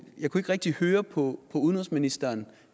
rigtig høre på udenrigsministeren